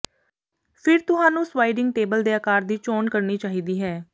ਫਿਰ ਤੁਹਾਨੂੰ sliding table ਦੇ ਆਕਾਰ ਦੀ ਚੋਣ ਕਰਨੀ ਚਾਹੀਦੀ ਹੈ